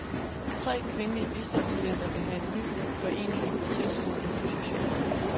Tre kvindelige bistandsklienter vil lave en ny forening i protest mod en ny sociallov.